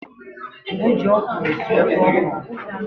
E ji ọkwụrụ esi ofe ọkwụrụ.